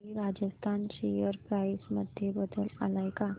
Shri Rajasthan share price मध्ये बदल आलाय का